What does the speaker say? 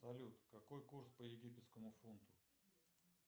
салют какой курс по египетскому фунту